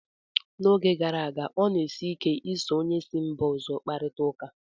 N'oge gara aga, ọ na-esi ike ị so onye si mba ọzọ kparịta ụka